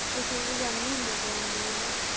ਅਸੀਂ ਵੀ ਜਾਣੇ ਹੁਣੇ ਗੁਵਾਣ ਦੇ ਮੇਲੇ